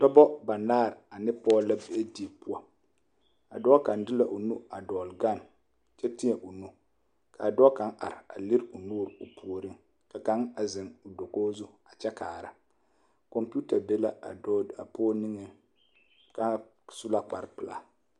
Dɔba banaare ane pɔge la be die poɔ a dɔɔ kaŋ de la o nu a dɔgle gane kyɛ teɛ o nu ka dɔɔ kaŋ are a lere o nuuri o puoriŋ ka kaŋ a zeŋ dakogi zu a kyɛ kaara kɔmpeta be la a dɔɔ a pɔge niŋeŋ k,a su la kparepelaa.